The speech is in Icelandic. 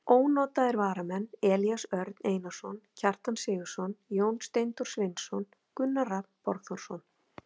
Ónotaðir varamenn: Elías Örn Einarsson, Kjartan Sigurðsson, Jón Steindór Sveinsson, Gunnar Rafn Borgþórsson.